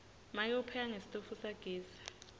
make upheka ngesitofu sagesi